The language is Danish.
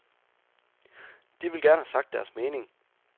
De vil gerne have sagt deres mening.